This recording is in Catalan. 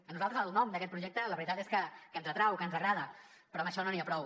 a nosaltres el nom d’aquest projecte la veritat és que ens atrau que ens agrada però amb això no n’hi ha prou